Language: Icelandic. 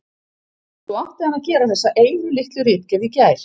Svo átti hann að gera þessa einu litlu ritgerð í gær.